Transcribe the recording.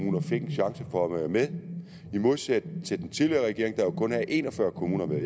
hvor at være med i modsætning til at den tidligere regering jo kun havde en og fyrre kommuner med